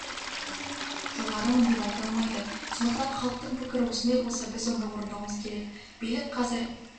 жоғарымын деп айта алмайды сондықтан халықтың пікірі осындай болса біз оны орындауымыз керек билік қазір